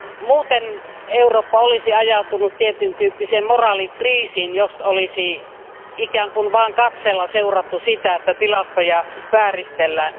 Muuten Eurooppa olisi ajautunut tietyntyyppiseen moraalikriisiin, jos olisi ikään kuin vain katseella seurattu sitä, että tilastoja vääristellään.